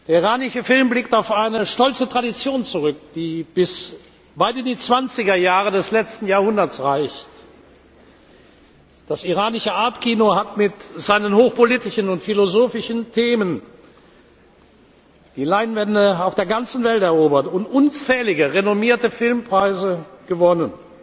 Der iranische Film blickt auf eine stolze Tradition zurück, die bis weit in die zwanziger Jahre des letzten Jahrhunderts reicht. Das iranische Art Kino hat mit seinen hochpolitischen und philosophischen Themen die Leinwände auf der ganzen Welt erobert und unzählige renommierte Filmpreise gewonnen.